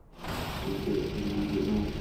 сбер индиго найт